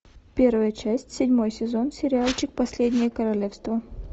первая часть седьмой сезон сериальчик последнее королевство